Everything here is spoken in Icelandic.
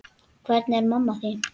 Hvernig er mamma þín?